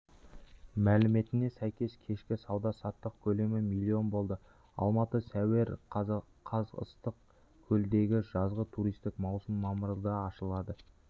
мәліметіне сәйкес кешкі сауда-саттық көлемі миллион болды алматы сәуір қаз ыссық-көлдегі жазғы туристік маусым мамырда ашылады